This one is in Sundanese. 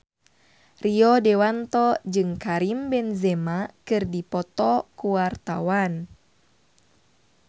Rio Dewanto jeung Karim Benzema keur dipoto ku wartawan